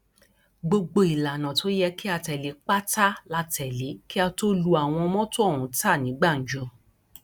gbogbo ìlànà tó yẹ kí a tẹlé pátá la tẹlé kí a tóó lu àwọn mọtò ọhún ta ní gbàǹjo